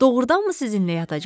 Doğrudanmı sizinlə yatacam?